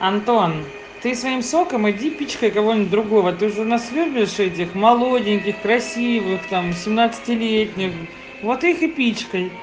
антон ты своим соком иди пичкай кого-нибудь другого ты же у нас любишь этих молоденьких красивых там семнадцатилетних вот их и пичкай